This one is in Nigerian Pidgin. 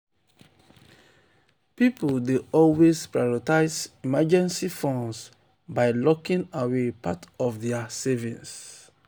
pipul dey always prioritize emergency funds by locking away part of dia savings.